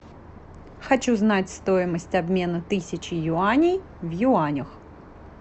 хочу знать стоимость обмена тысячи юаней в юанях